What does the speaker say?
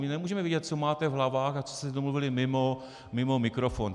My nemůžeme vidět, co máte v hlavách a co jste domluvili mimo mikrofon.